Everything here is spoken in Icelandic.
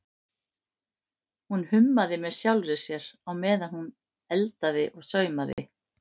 Hún hummaði með sjálfri sér á meðan hún eldaði eða saumaði.